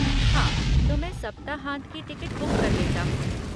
हाँ, तो मैं सप्ताहांत की टिकट बुक कर लेता हूँ।